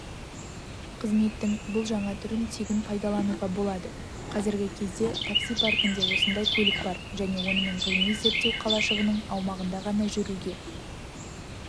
қызметтің бұл жаңа түрін тегін пайдалануға болады қазіргі кезде такси паркінде осындай көлік бар және онымен ғылыми-зерттеу қалашығының аумағында ғана жүруге